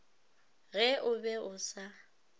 ge o be o sa